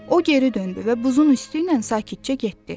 O geri döndü və buzun üstü ilə sakitcə getdi.